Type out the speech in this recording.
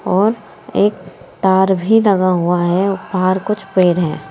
और एक तार भी दगा हुआ है बाहर कुछ पेर हैं।